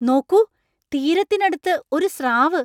നോക്കൂ! തീരത്തിനടുത്ത് ഒരു സ്രാവ് !